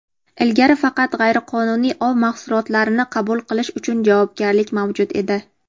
Ilgari faqat g‘ayriqonuniy ov mahsulotlarini qabul qilish uchun javobgarlik mavjud edi.